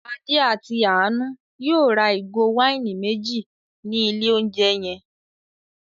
Adé àti Àánú yóò ra ìgò wáìnì méjì ní ilé-oúnjẹ yẹn.